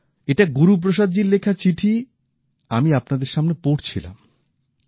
এটা গুরুপ্রসাদজীর লেখা চিঠি আমি আপনাদের সামনে পড়ছিলাম